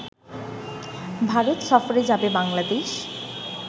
ভারত সফরে যাবে বাংলাদেশ